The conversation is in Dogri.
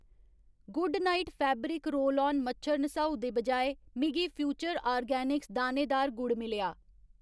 Good night fabric roll on मच्छर नसाऊ दे बजाए, मिगी फ्यूचर आर्गेनिक्स दानेदार गुड़ मिलेआ।